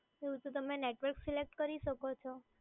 એવું તો તમે નેટવર્ક સિલેક્ટ કરી શકો છો.